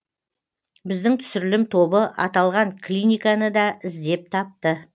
біздің түсірілім тобы аталған клиниканы да іздеп тапты